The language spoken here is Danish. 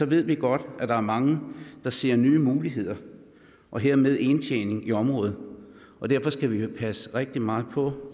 ved vi godt at der er mange der ser nye muligheder og hermed indtjening i området derfor skal vi passe rigtig meget på